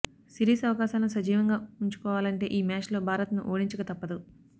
series అవకాశాలను సజీవంగా ఉంచుకోవాలంటే ఈ మ్యాచ్లో భారత్ను ఓడించక తప్పదు